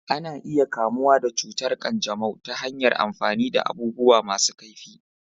Ana iya kamuwa da cutar ƙanjamau ta hanyar amfani da abubuwa masu kaifi.